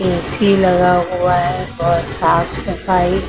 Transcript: AC लगा हुआ है और साफ सफाई--